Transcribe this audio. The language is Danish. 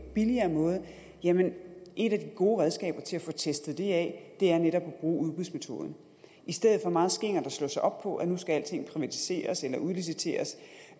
billigere måde jamen et af de gode redskaber til at få testet det af er netop at bruge udbudsmetoden i stedet for meget skingert at slå sig op på at nu skal alting privatiseres eller udliciteres